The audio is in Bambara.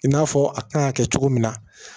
I n'a fɔ a kan ka kɛ cogo min na